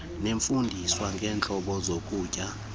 nokufundiswa ngeentlobo zokutya